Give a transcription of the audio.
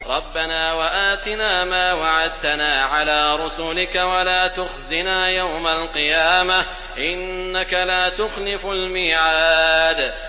رَبَّنَا وَآتِنَا مَا وَعَدتَّنَا عَلَىٰ رُسُلِكَ وَلَا تُخْزِنَا يَوْمَ الْقِيَامَةِ ۗ إِنَّكَ لَا تُخْلِفُ الْمِيعَادَ